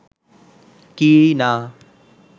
কি না